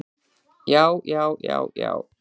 Já, já, já, já.